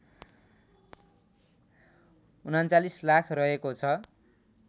३९ लाख रहेको छ